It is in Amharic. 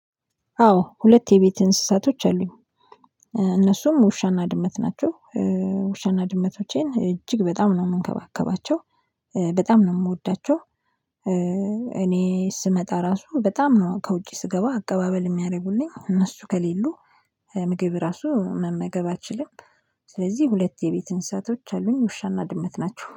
አዎ ሁለት የቤት እንስሳቶች አሉኝ እነሱም ውሻና ድመት ናቸው። ውሻና ድመቶቼን እጅግ በጣም ነው የምንከባከባቸው በጣም ነው የምወዳቸው። እኔ ስመጣ ራሱ በጣም ነው ከውጪ ስገባ አቀባበል የሚያደርጉልኝ እነሱ ከሌሉ ምግብ ራሱ መመገብ አልችልም። ስለዚህ ሁለት የቤት እንስሳቶች አሉኝ ውሻና ድመት ናቸው